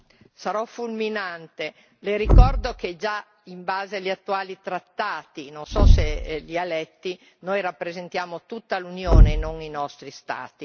Sarò fulminante le ricordo che già in base agli attuali trattati non so se li ha letti noi rappresentiamo tutta l'Unione e non i nostri Stati.